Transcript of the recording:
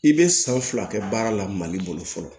I bɛ san fila kɛ baara la mali bolo fɔlɔ